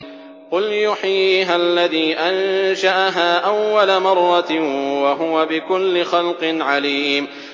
قُلْ يُحْيِيهَا الَّذِي أَنشَأَهَا أَوَّلَ مَرَّةٍ ۖ وَهُوَ بِكُلِّ خَلْقٍ عَلِيمٌ